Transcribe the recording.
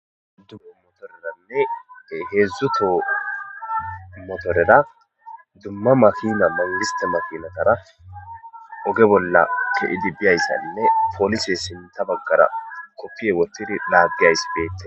dumma motoreranne heedzdzuto motorera dumma makina mangista makinatara oge bolla ke7idi biyayssaynne poolise sinta baggara koppiye wottidi dhaaggeyays beette